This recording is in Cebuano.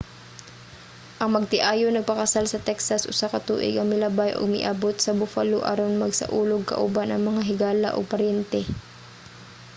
ang magtiayon nagpakasal sa texas usa ka tuig ang milabay ug miabut sa buffalo aron magsaulog kauban ang mga higala ug paryente